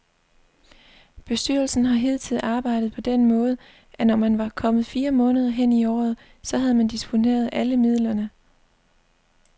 Bestyrelsen har hidtil arbejdet på den måde, at når man var kommet fire måneder hen i året, så havde man disponeret alle midlerne.